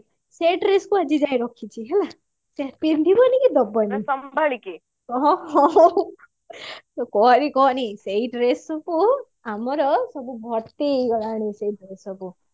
ସେଇ dress କୁ ଆଜି ଯାଏ ରଖିଛି ହେଲା ସେ ପିନ୍ଧିବନି କି ଦବନି କହନି କହନି ସେଇ dress କୁ ଆମର ସବୁ ଭର୍ତି ହେଇଗଲାଣି ସେଇ ଗୁଡା ସବୁ